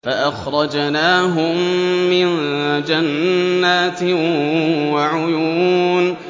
فَأَخْرَجْنَاهُم مِّن جَنَّاتٍ وَعُيُونٍ